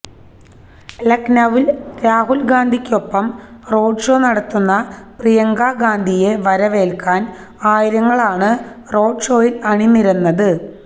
ലക്നൌവിൽ രാഹുൽ ഗാന്ധിക്കൊപ്പം റോഡ്ഷോ നടത്തുന്ന പ്രിയങ്ക ഗാന്ധിയെയെ വരവേൽക്കാൻ ആയിരങ്ങളാണ് റോഡ് ഷോയിൽ അണിനിരന്നത്